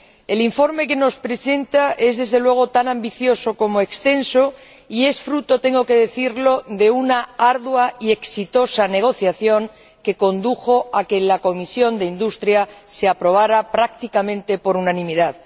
El informe que nos presenta es, desde luego, tan ambicioso como extenso y es fruto tengo que decirlo de una ardua y exitosa negociación que condujo a que en la Comisión de Industria, Investigación y Energía se aprobara prácticamente por unanimidad.